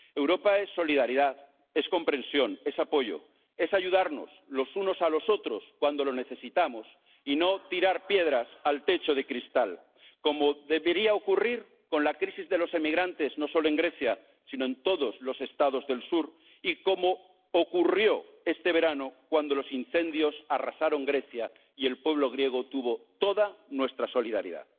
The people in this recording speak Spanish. Europa es solidaridad, es comprensión, es apoyo, es ayudarnos los unos a los otros cuando lo necesitamos y no tirar piedras al techo de cristal, como debería ocurrir con la crisis de los emigrantes, no solo en Grecia, sino en todos los Estados del sur, tal como ocurrió este verano cuando los incendios arrasaron Grecia, y el pueblo griego tuvo toda nuestra solidaridad.